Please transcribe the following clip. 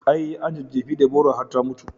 I, an jejjefe Deborah har ta mutu